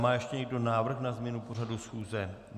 Má ještě někdo návrh na změnu pořadu schůze?